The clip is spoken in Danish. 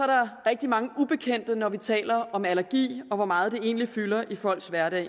der rigtig mange ubekendte når vi taler om allergi og om hvor meget det egentlig fylder i folks hverdag